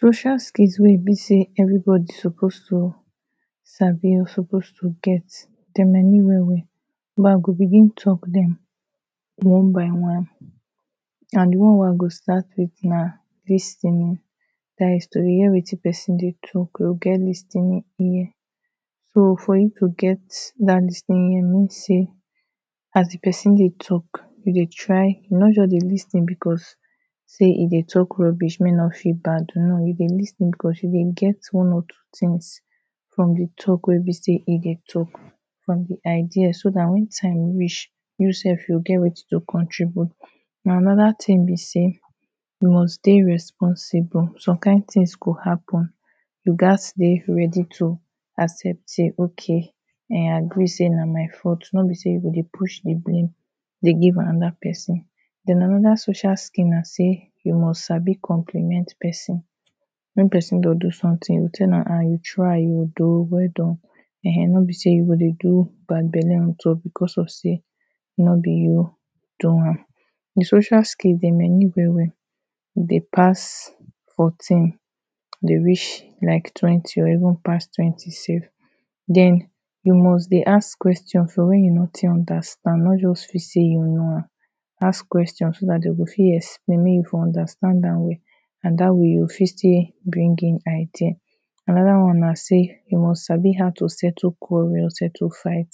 Social skills wey e be say everybody suppose to sabi or suppose to get dem many well-well. Now I go begin talk dem one by one And the one wey I go start with na lis ten ing dat is to dey hear wetin person dey talk. To get lis ten ing ear So for you to get dat lis ten ing ear e mean sey as the person dey talk you dey try, you no just dey lis ten because Sey e dey talk rubbish make e no feel bad, no. You dey lis ten because you go get one or two Things from the talk wey be say e dey talk from the idea so that when time reach you sef, you go get something to contribute Now anoda thing be say, you must dey responsible, some kind things go happen you gats dey ready to accept say okay I agree say na my fault. No be say you go dey push the blame dey give anoda person den, anoda social skill na say, you must sabi compliment person Wen person go do something you go tell am um, you try oh. Do. Well done No be say you go dey do bad belle on top because of sey no be you do am. The social skill, them many well-well Dey pass fourteen Them reach like twenty or even come pass twenty sef den, you must dey ask questions for when you no take understand. No just feel say you know am. Ask questions so that dey go fit explain make you fit understand am well. And that way you go fit still bring in idea Anoda one na say, you must sabi how to settle quarrel, settle fight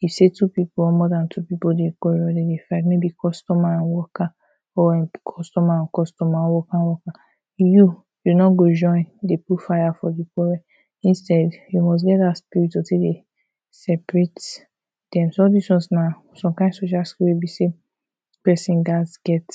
You see two people, or more than two people dey quarrel, dem dey fight. Or like customer and worker, or customer and customer, worker worker. You, you no go join dey put fire for de problem. Instead, you must get that spirit to tek dey separate dem so, all dis ones na some kind social skill wey be say person gats get.